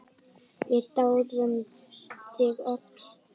Við dáðum þig öll.